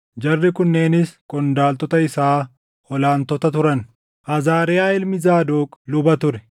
Jarri kunneenis qondaaltota isaa ol aantota turan: Azaariyaa ilmi Zaadoq luba ture;